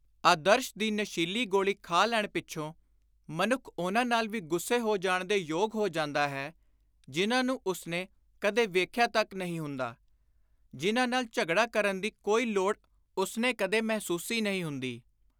ਆਦਰਸ਼ ਦੀ ਨਸ਼ੀਲੀ ਗੋਲੀ ਖਾ ਲੈਣ ਪਿੱਛੋਂ ਮਨੁੱਖ ਉਨ੍ਹਾਂ ਨਾਲ ਵੀ ਗੁੱਸੇ ਹੋ ਜਾਣ ਦੇ ਯੋਗ ਹੋ ਜਾਂਦਾ ਹੈ, ਜਿਨ੍ਹਾਂ ਨੂੰ ਉਸਨੇ ਕਦੇ ਵੇਖਿਆ ਤਕ ਨਹੀਂ ਹੁੰਦਾ; ਜਿਨ੍ਹਾਂ ਨਾਲ ਝਗੜਾ ਕਰਨ ਦੀ ਕੋਈ ਲੋੜ ਉਸਨੇ ਕਦੇ ਮਹਿਸੁਸੀ ਨਹੀਂ ਹੁੰਦੀ।